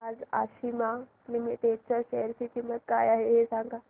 आज आशिमा लिमिटेड च्या शेअर ची किंमत काय आहे हे सांगा